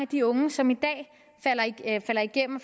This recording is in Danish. de unge som i dag falder igennem